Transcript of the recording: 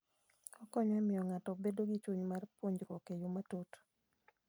Okonyo e miyo ng'ato obed gi chuny mar puonjruok e yo matut.